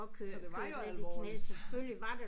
Så det var jo alvorligt